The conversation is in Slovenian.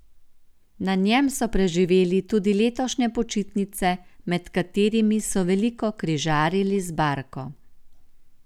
Na njem so preživeli tudi letošnje počitnice, med katerimi so veliko križarili z barko.